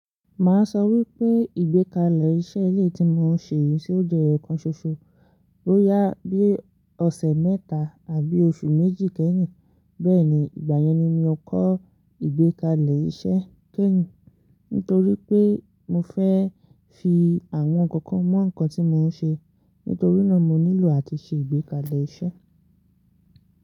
Màá sọ wípé ìgbékalẹ̀ iṣẹ́ ilé tí mò ń ṣe yí ṣé ó jẹ́ eyo kan ṣoṣo, boyá bí ọ̀sẹ̀ mẹ́ta àbí oṣù méjì kẹ́yìn. Bẹ́ẹ̀ni, ìgbà yẹn ni mo kọ́ ìgbékalẹ̀ iṣẹ́ kẹ́yìn, nítorí pé mo fẹ́ fi àwọn ǹkan kan mọ ǹkan tí mò ń ṣe. Nítorí náà mo nílò àti ṣe ìgbékalẹ̀ iṣẹ́.